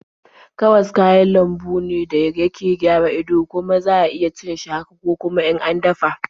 Karas kayan lambu ne da yake gara ido, kuma za iya cin shi haka ko kuma in an dafa.